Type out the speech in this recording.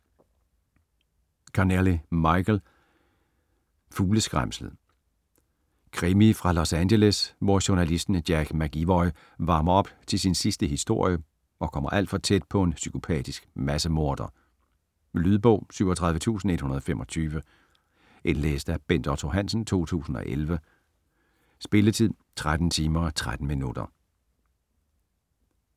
Connelly, Michael: Fugleskræmslet Krimi fra Los Angeles, hvor journalisten Jack McEvoy varmer op til sin sidste historie og kommer alt for tæt på en psykopatisk massemorder. Lydbog 37125 Indlæst af Bent Otto Hansen, 2011. Spilletid: 13 timer, 13 minutter.